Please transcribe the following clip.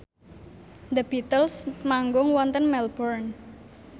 The Beatles manggung wonten Melbourne